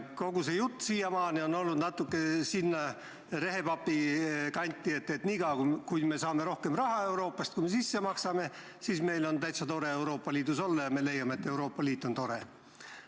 Kogu see jutt on siiamaani läinud natukene rehepapluse kanti, et niikaua, kui saame Euroopast raha rohkem, kui ise sisse maksame, on meil Euroopa Liidus täitsa tore olla ja leiame, et Euroopa Liit on tore.